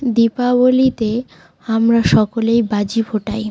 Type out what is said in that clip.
দীপাবলিতে আমরা সকলেই বাজি ফোটাই।